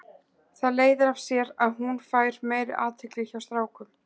Það leiðir af sér að hún fær meiri athygli hjá strákum.